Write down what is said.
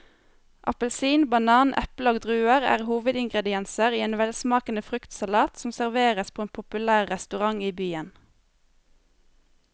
Appelsin, banan, eple og druer er hovedingredienser i en velsmakende fruktsalat som serveres på en populær restaurant i byen.